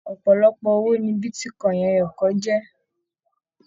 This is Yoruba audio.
Ọpọlọpọ owó ní bitíkọ̀in ẹyọkan jẹ.